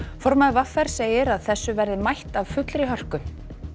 formaður v r segir að þessu verði mætt af fullri hörku